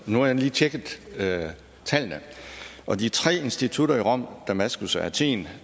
nu har jeg lige tjekket tallene og de tre institutter i rom damaskus og athen